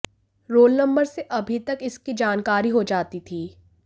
role number से अभी तक इसकी जानकारी हो जाती थी